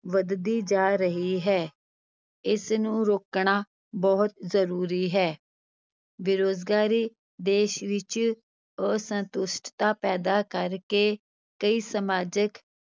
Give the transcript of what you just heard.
ਵੱਧਦੀ ਜਾ ਰਹੀ ਹੈ, ਇਸਨੂੰ ਰੋਕਣਾ ਬਹੁਤ ਜ਼ਰੂਰੀ ਹੈ ਬੇਰੁਜ਼ਗਾਰੀ ਦੇਸ ਵਿੱਚ ਅਸੰਤੁਸ਼ਟਤਾ ਪੈਦਾ ਕਰਕੇ ਕਈ ਸਮਾਜਕ